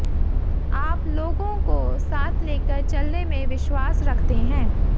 आप लोगों को साथ लेकर चलने में विश्वास रखते हैं